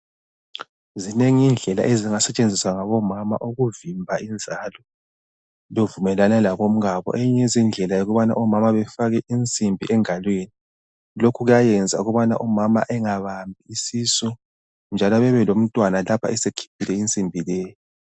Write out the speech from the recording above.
Zinengi indlela engasetshenziswa ngomama ukuvimba inzalo bevumelane labomkabo eyinye yezindlela ngeyokufaka insimbi engalweni lokhu kuyayenza ukuthi umama angabambi isisu njalo bebelomntwana lapho esekhiphile insimbi leyo.